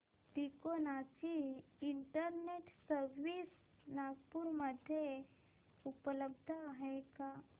तिकोना ची internet service Nagpur मध्ये उपलब्ध आहे का